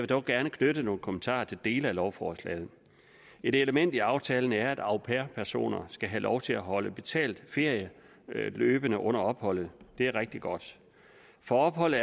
dog gerne knytte nogle kommentarer til dele af lovforslaget et element i aftalen er at au pair personer skal have lov til at holde betalt ferie løbende under opholdet det er rigtig godt for ophold